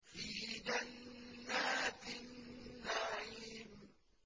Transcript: فِي جَنَّاتِ النَّعِيمِ